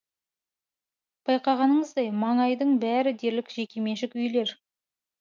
байқағаныңыздай маңайдың бәрі дерлік жекеменшік үйлер